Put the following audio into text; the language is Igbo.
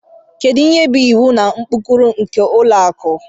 Kedu ihe bụ iwu na ụkpụrụ nke ụlọ akụ